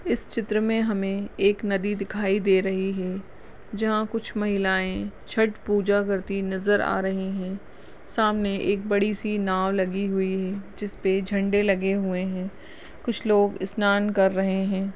इस चित्र में हमें एक नदी दिखाई दे रही है जहाँ कुछ महिलाएं छट पुजा करती नज़र आ रही हैं सामने एक बड़ी सी नाओ लगी हुई है जिसपे झंडे लगे हुए हैं कुछ लोग स्नान कर रहे हैं।